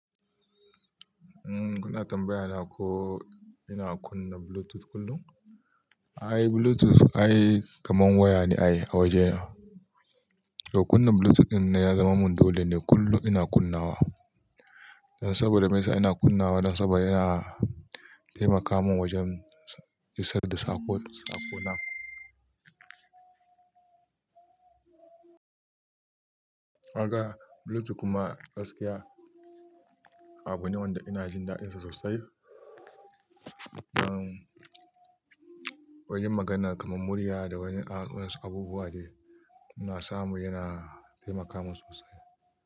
Kuna tambayana ko ina kunna Bluetooth kullum? Bluetooth, kamar waya ne a wajena. To kunna Bluetooth din ne ya zama mun dole ne kullum ina kunnawa. Saboda me sa ina kunnawa? Dan saboda yana taimaka mun wajen isar da saƙo, kaga Bluetooth kuma gaskiya abu ne wanda ina jin dadinsa sosai. Wajen magana kamar murya da wasu abubuwa de ina samu yana taimaka mun sosai.